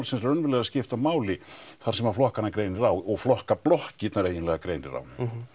sem raunverulega skipta máli þar sem flokkana greinir á og flokkablokkirnar eiginlega greinir á